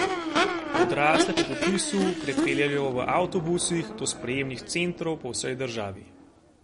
Odrasle po popisu prepeljejo v avtobusih do sprejemnih centrov po vsej državi.